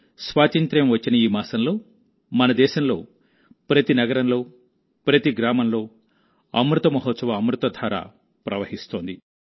స్వాతంత్య్రం వచ్చిన ఈ మాసంలో మన దేశంలో ప్రతి నగరంలో ప్రతి గ్రామంలో అమృత మహోత్సవఅమృతధార ప్రవహిస్తోంది